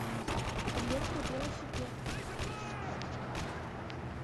электровелосипед